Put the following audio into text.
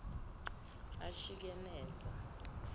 ashikeneza